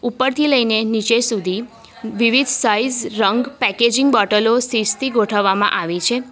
ઉપરથી લઈને નીચે સુધી વિવિધ સાઈઝ રંગ પેકેજીંગ બોટલો સીસથી ગોઠવવામાં આવી છે.